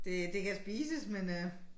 Det det kan spises men øh